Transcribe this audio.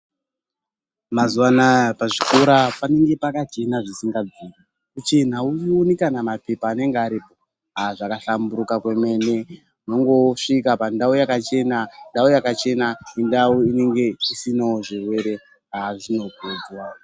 Mazuwa anaa, pazvikora panenge pakachena zvisingabviri. Kuchena, auoni kana maphepha anenge aripo. Aah zvakahlamburika kwemene, unongosvika pandau yakachena, ndau yakachena indau inenge isinawo zvirwere. Zvinokudzwa.